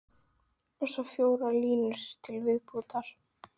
Og svo fjórar línur til viðbótar